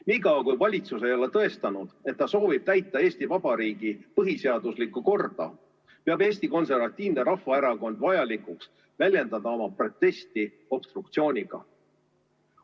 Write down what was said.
Nii kaua, kui valitsus ei ole tõestanud, et ta soovib täita Eesti Vabariigi põhiseaduslikku korda, peab Eesti Konservatiivne Rahvaerakond vajalikuks väljendada oma protesti obstruktsiooniga.